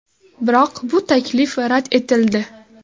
Biroq bu taklif rad etildi.